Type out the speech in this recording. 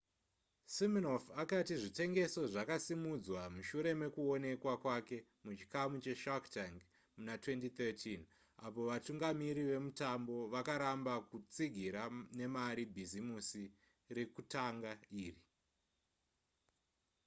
siminoff akati zvitengeso zvakasimudzwa mushure mekuonekwa kwake muchikamu che shark tank muna2013 apo vatungamiri vemutambo vakaramba kutsigira nemari bhisimusi rekutanga iri